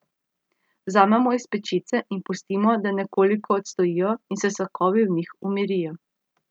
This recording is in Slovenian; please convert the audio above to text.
Vzamemo iz pečice in pustimo, da nekoliko odstojijo in se sokovi v njih umirijo.